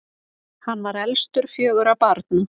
hann var elstur fjögurra barna